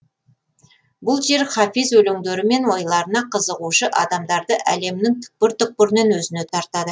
бұл жер хафиз өлеңдері мен ойларына қызығушы адамдарды әлемнің түкпір түкпірінен өзіне тартады